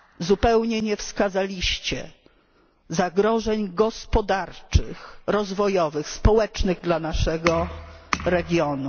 Zupełnie nie wskazaliście zagrożeń gospodarczych, rozwojowych, społecznych dla naszego regionu.